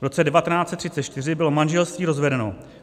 V roce 1934 bylo manželství rozvedeno.